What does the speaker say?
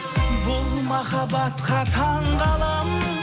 бұл махабатқа таңғаламын